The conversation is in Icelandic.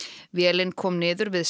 vélin kom niður við